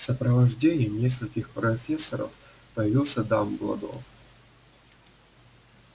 в сопровождении нескольких профессоров появился дамблдор